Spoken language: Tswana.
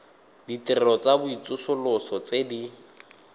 ditirelo tsa tsosoloso tse di